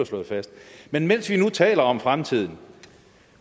slået fast men mens vi nu taler om fremtiden